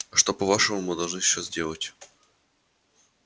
а что по-вашему мы должны сейчас делать